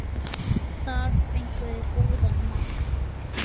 Þar fenguð þið góðan mann.